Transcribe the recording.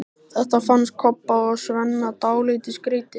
Þetta fannst Kobba og Svenna dálítið skrýtið.